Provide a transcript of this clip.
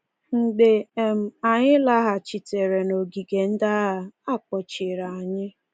Mgbe um anyị laghachitere n’ogige ndị agha, a kpọchiri anyị.